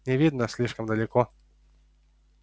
не видно слишком далеко